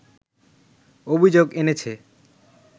অভিযোগ এনেছে